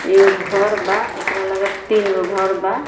एगो घर बा एकरा लगे तीन गो घर बा।